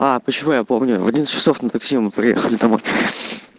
а почему я помню в одиннадцать часов на такси мы приехали домой